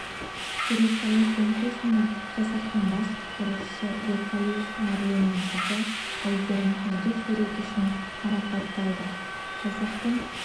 сурет салу конкурсында жасақтың бас құтқарушысы беркалиев марленнің қызы айгерім үздік суреті үшін марапатталды жасақтың